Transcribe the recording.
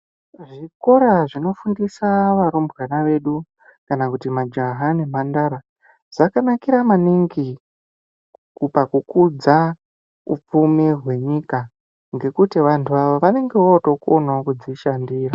Kvikora zvinofundisa varumbwana vedu, kana kuti majaha nemhandara, dzakanakira maningi, ku pakukudza hupfumi hwenyika ,ngekuti vanhu ava vanonga votokonawo kudzishandira.